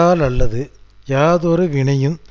அனைத்தையும் ஒரு காலக்கெடுவிற்குள் மாற்று இல்லாமல்